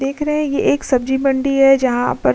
देख रहे ये एक सब्जी मंडी है जहाँ पर --